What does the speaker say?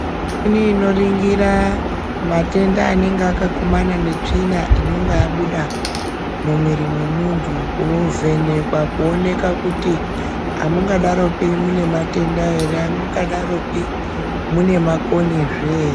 Mishini inoringira matenda anenga akakumana netsvina inonga yabuda mumwiri mwemuntu. Kovhenekwa kuonekwa kuti hamungadaropi mune matenda ere hamungadaropi mune makonyezve ere.